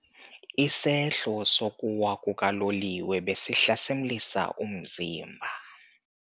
Isehlo sokuwa kukaloliwe besihlasimlisa umzimba.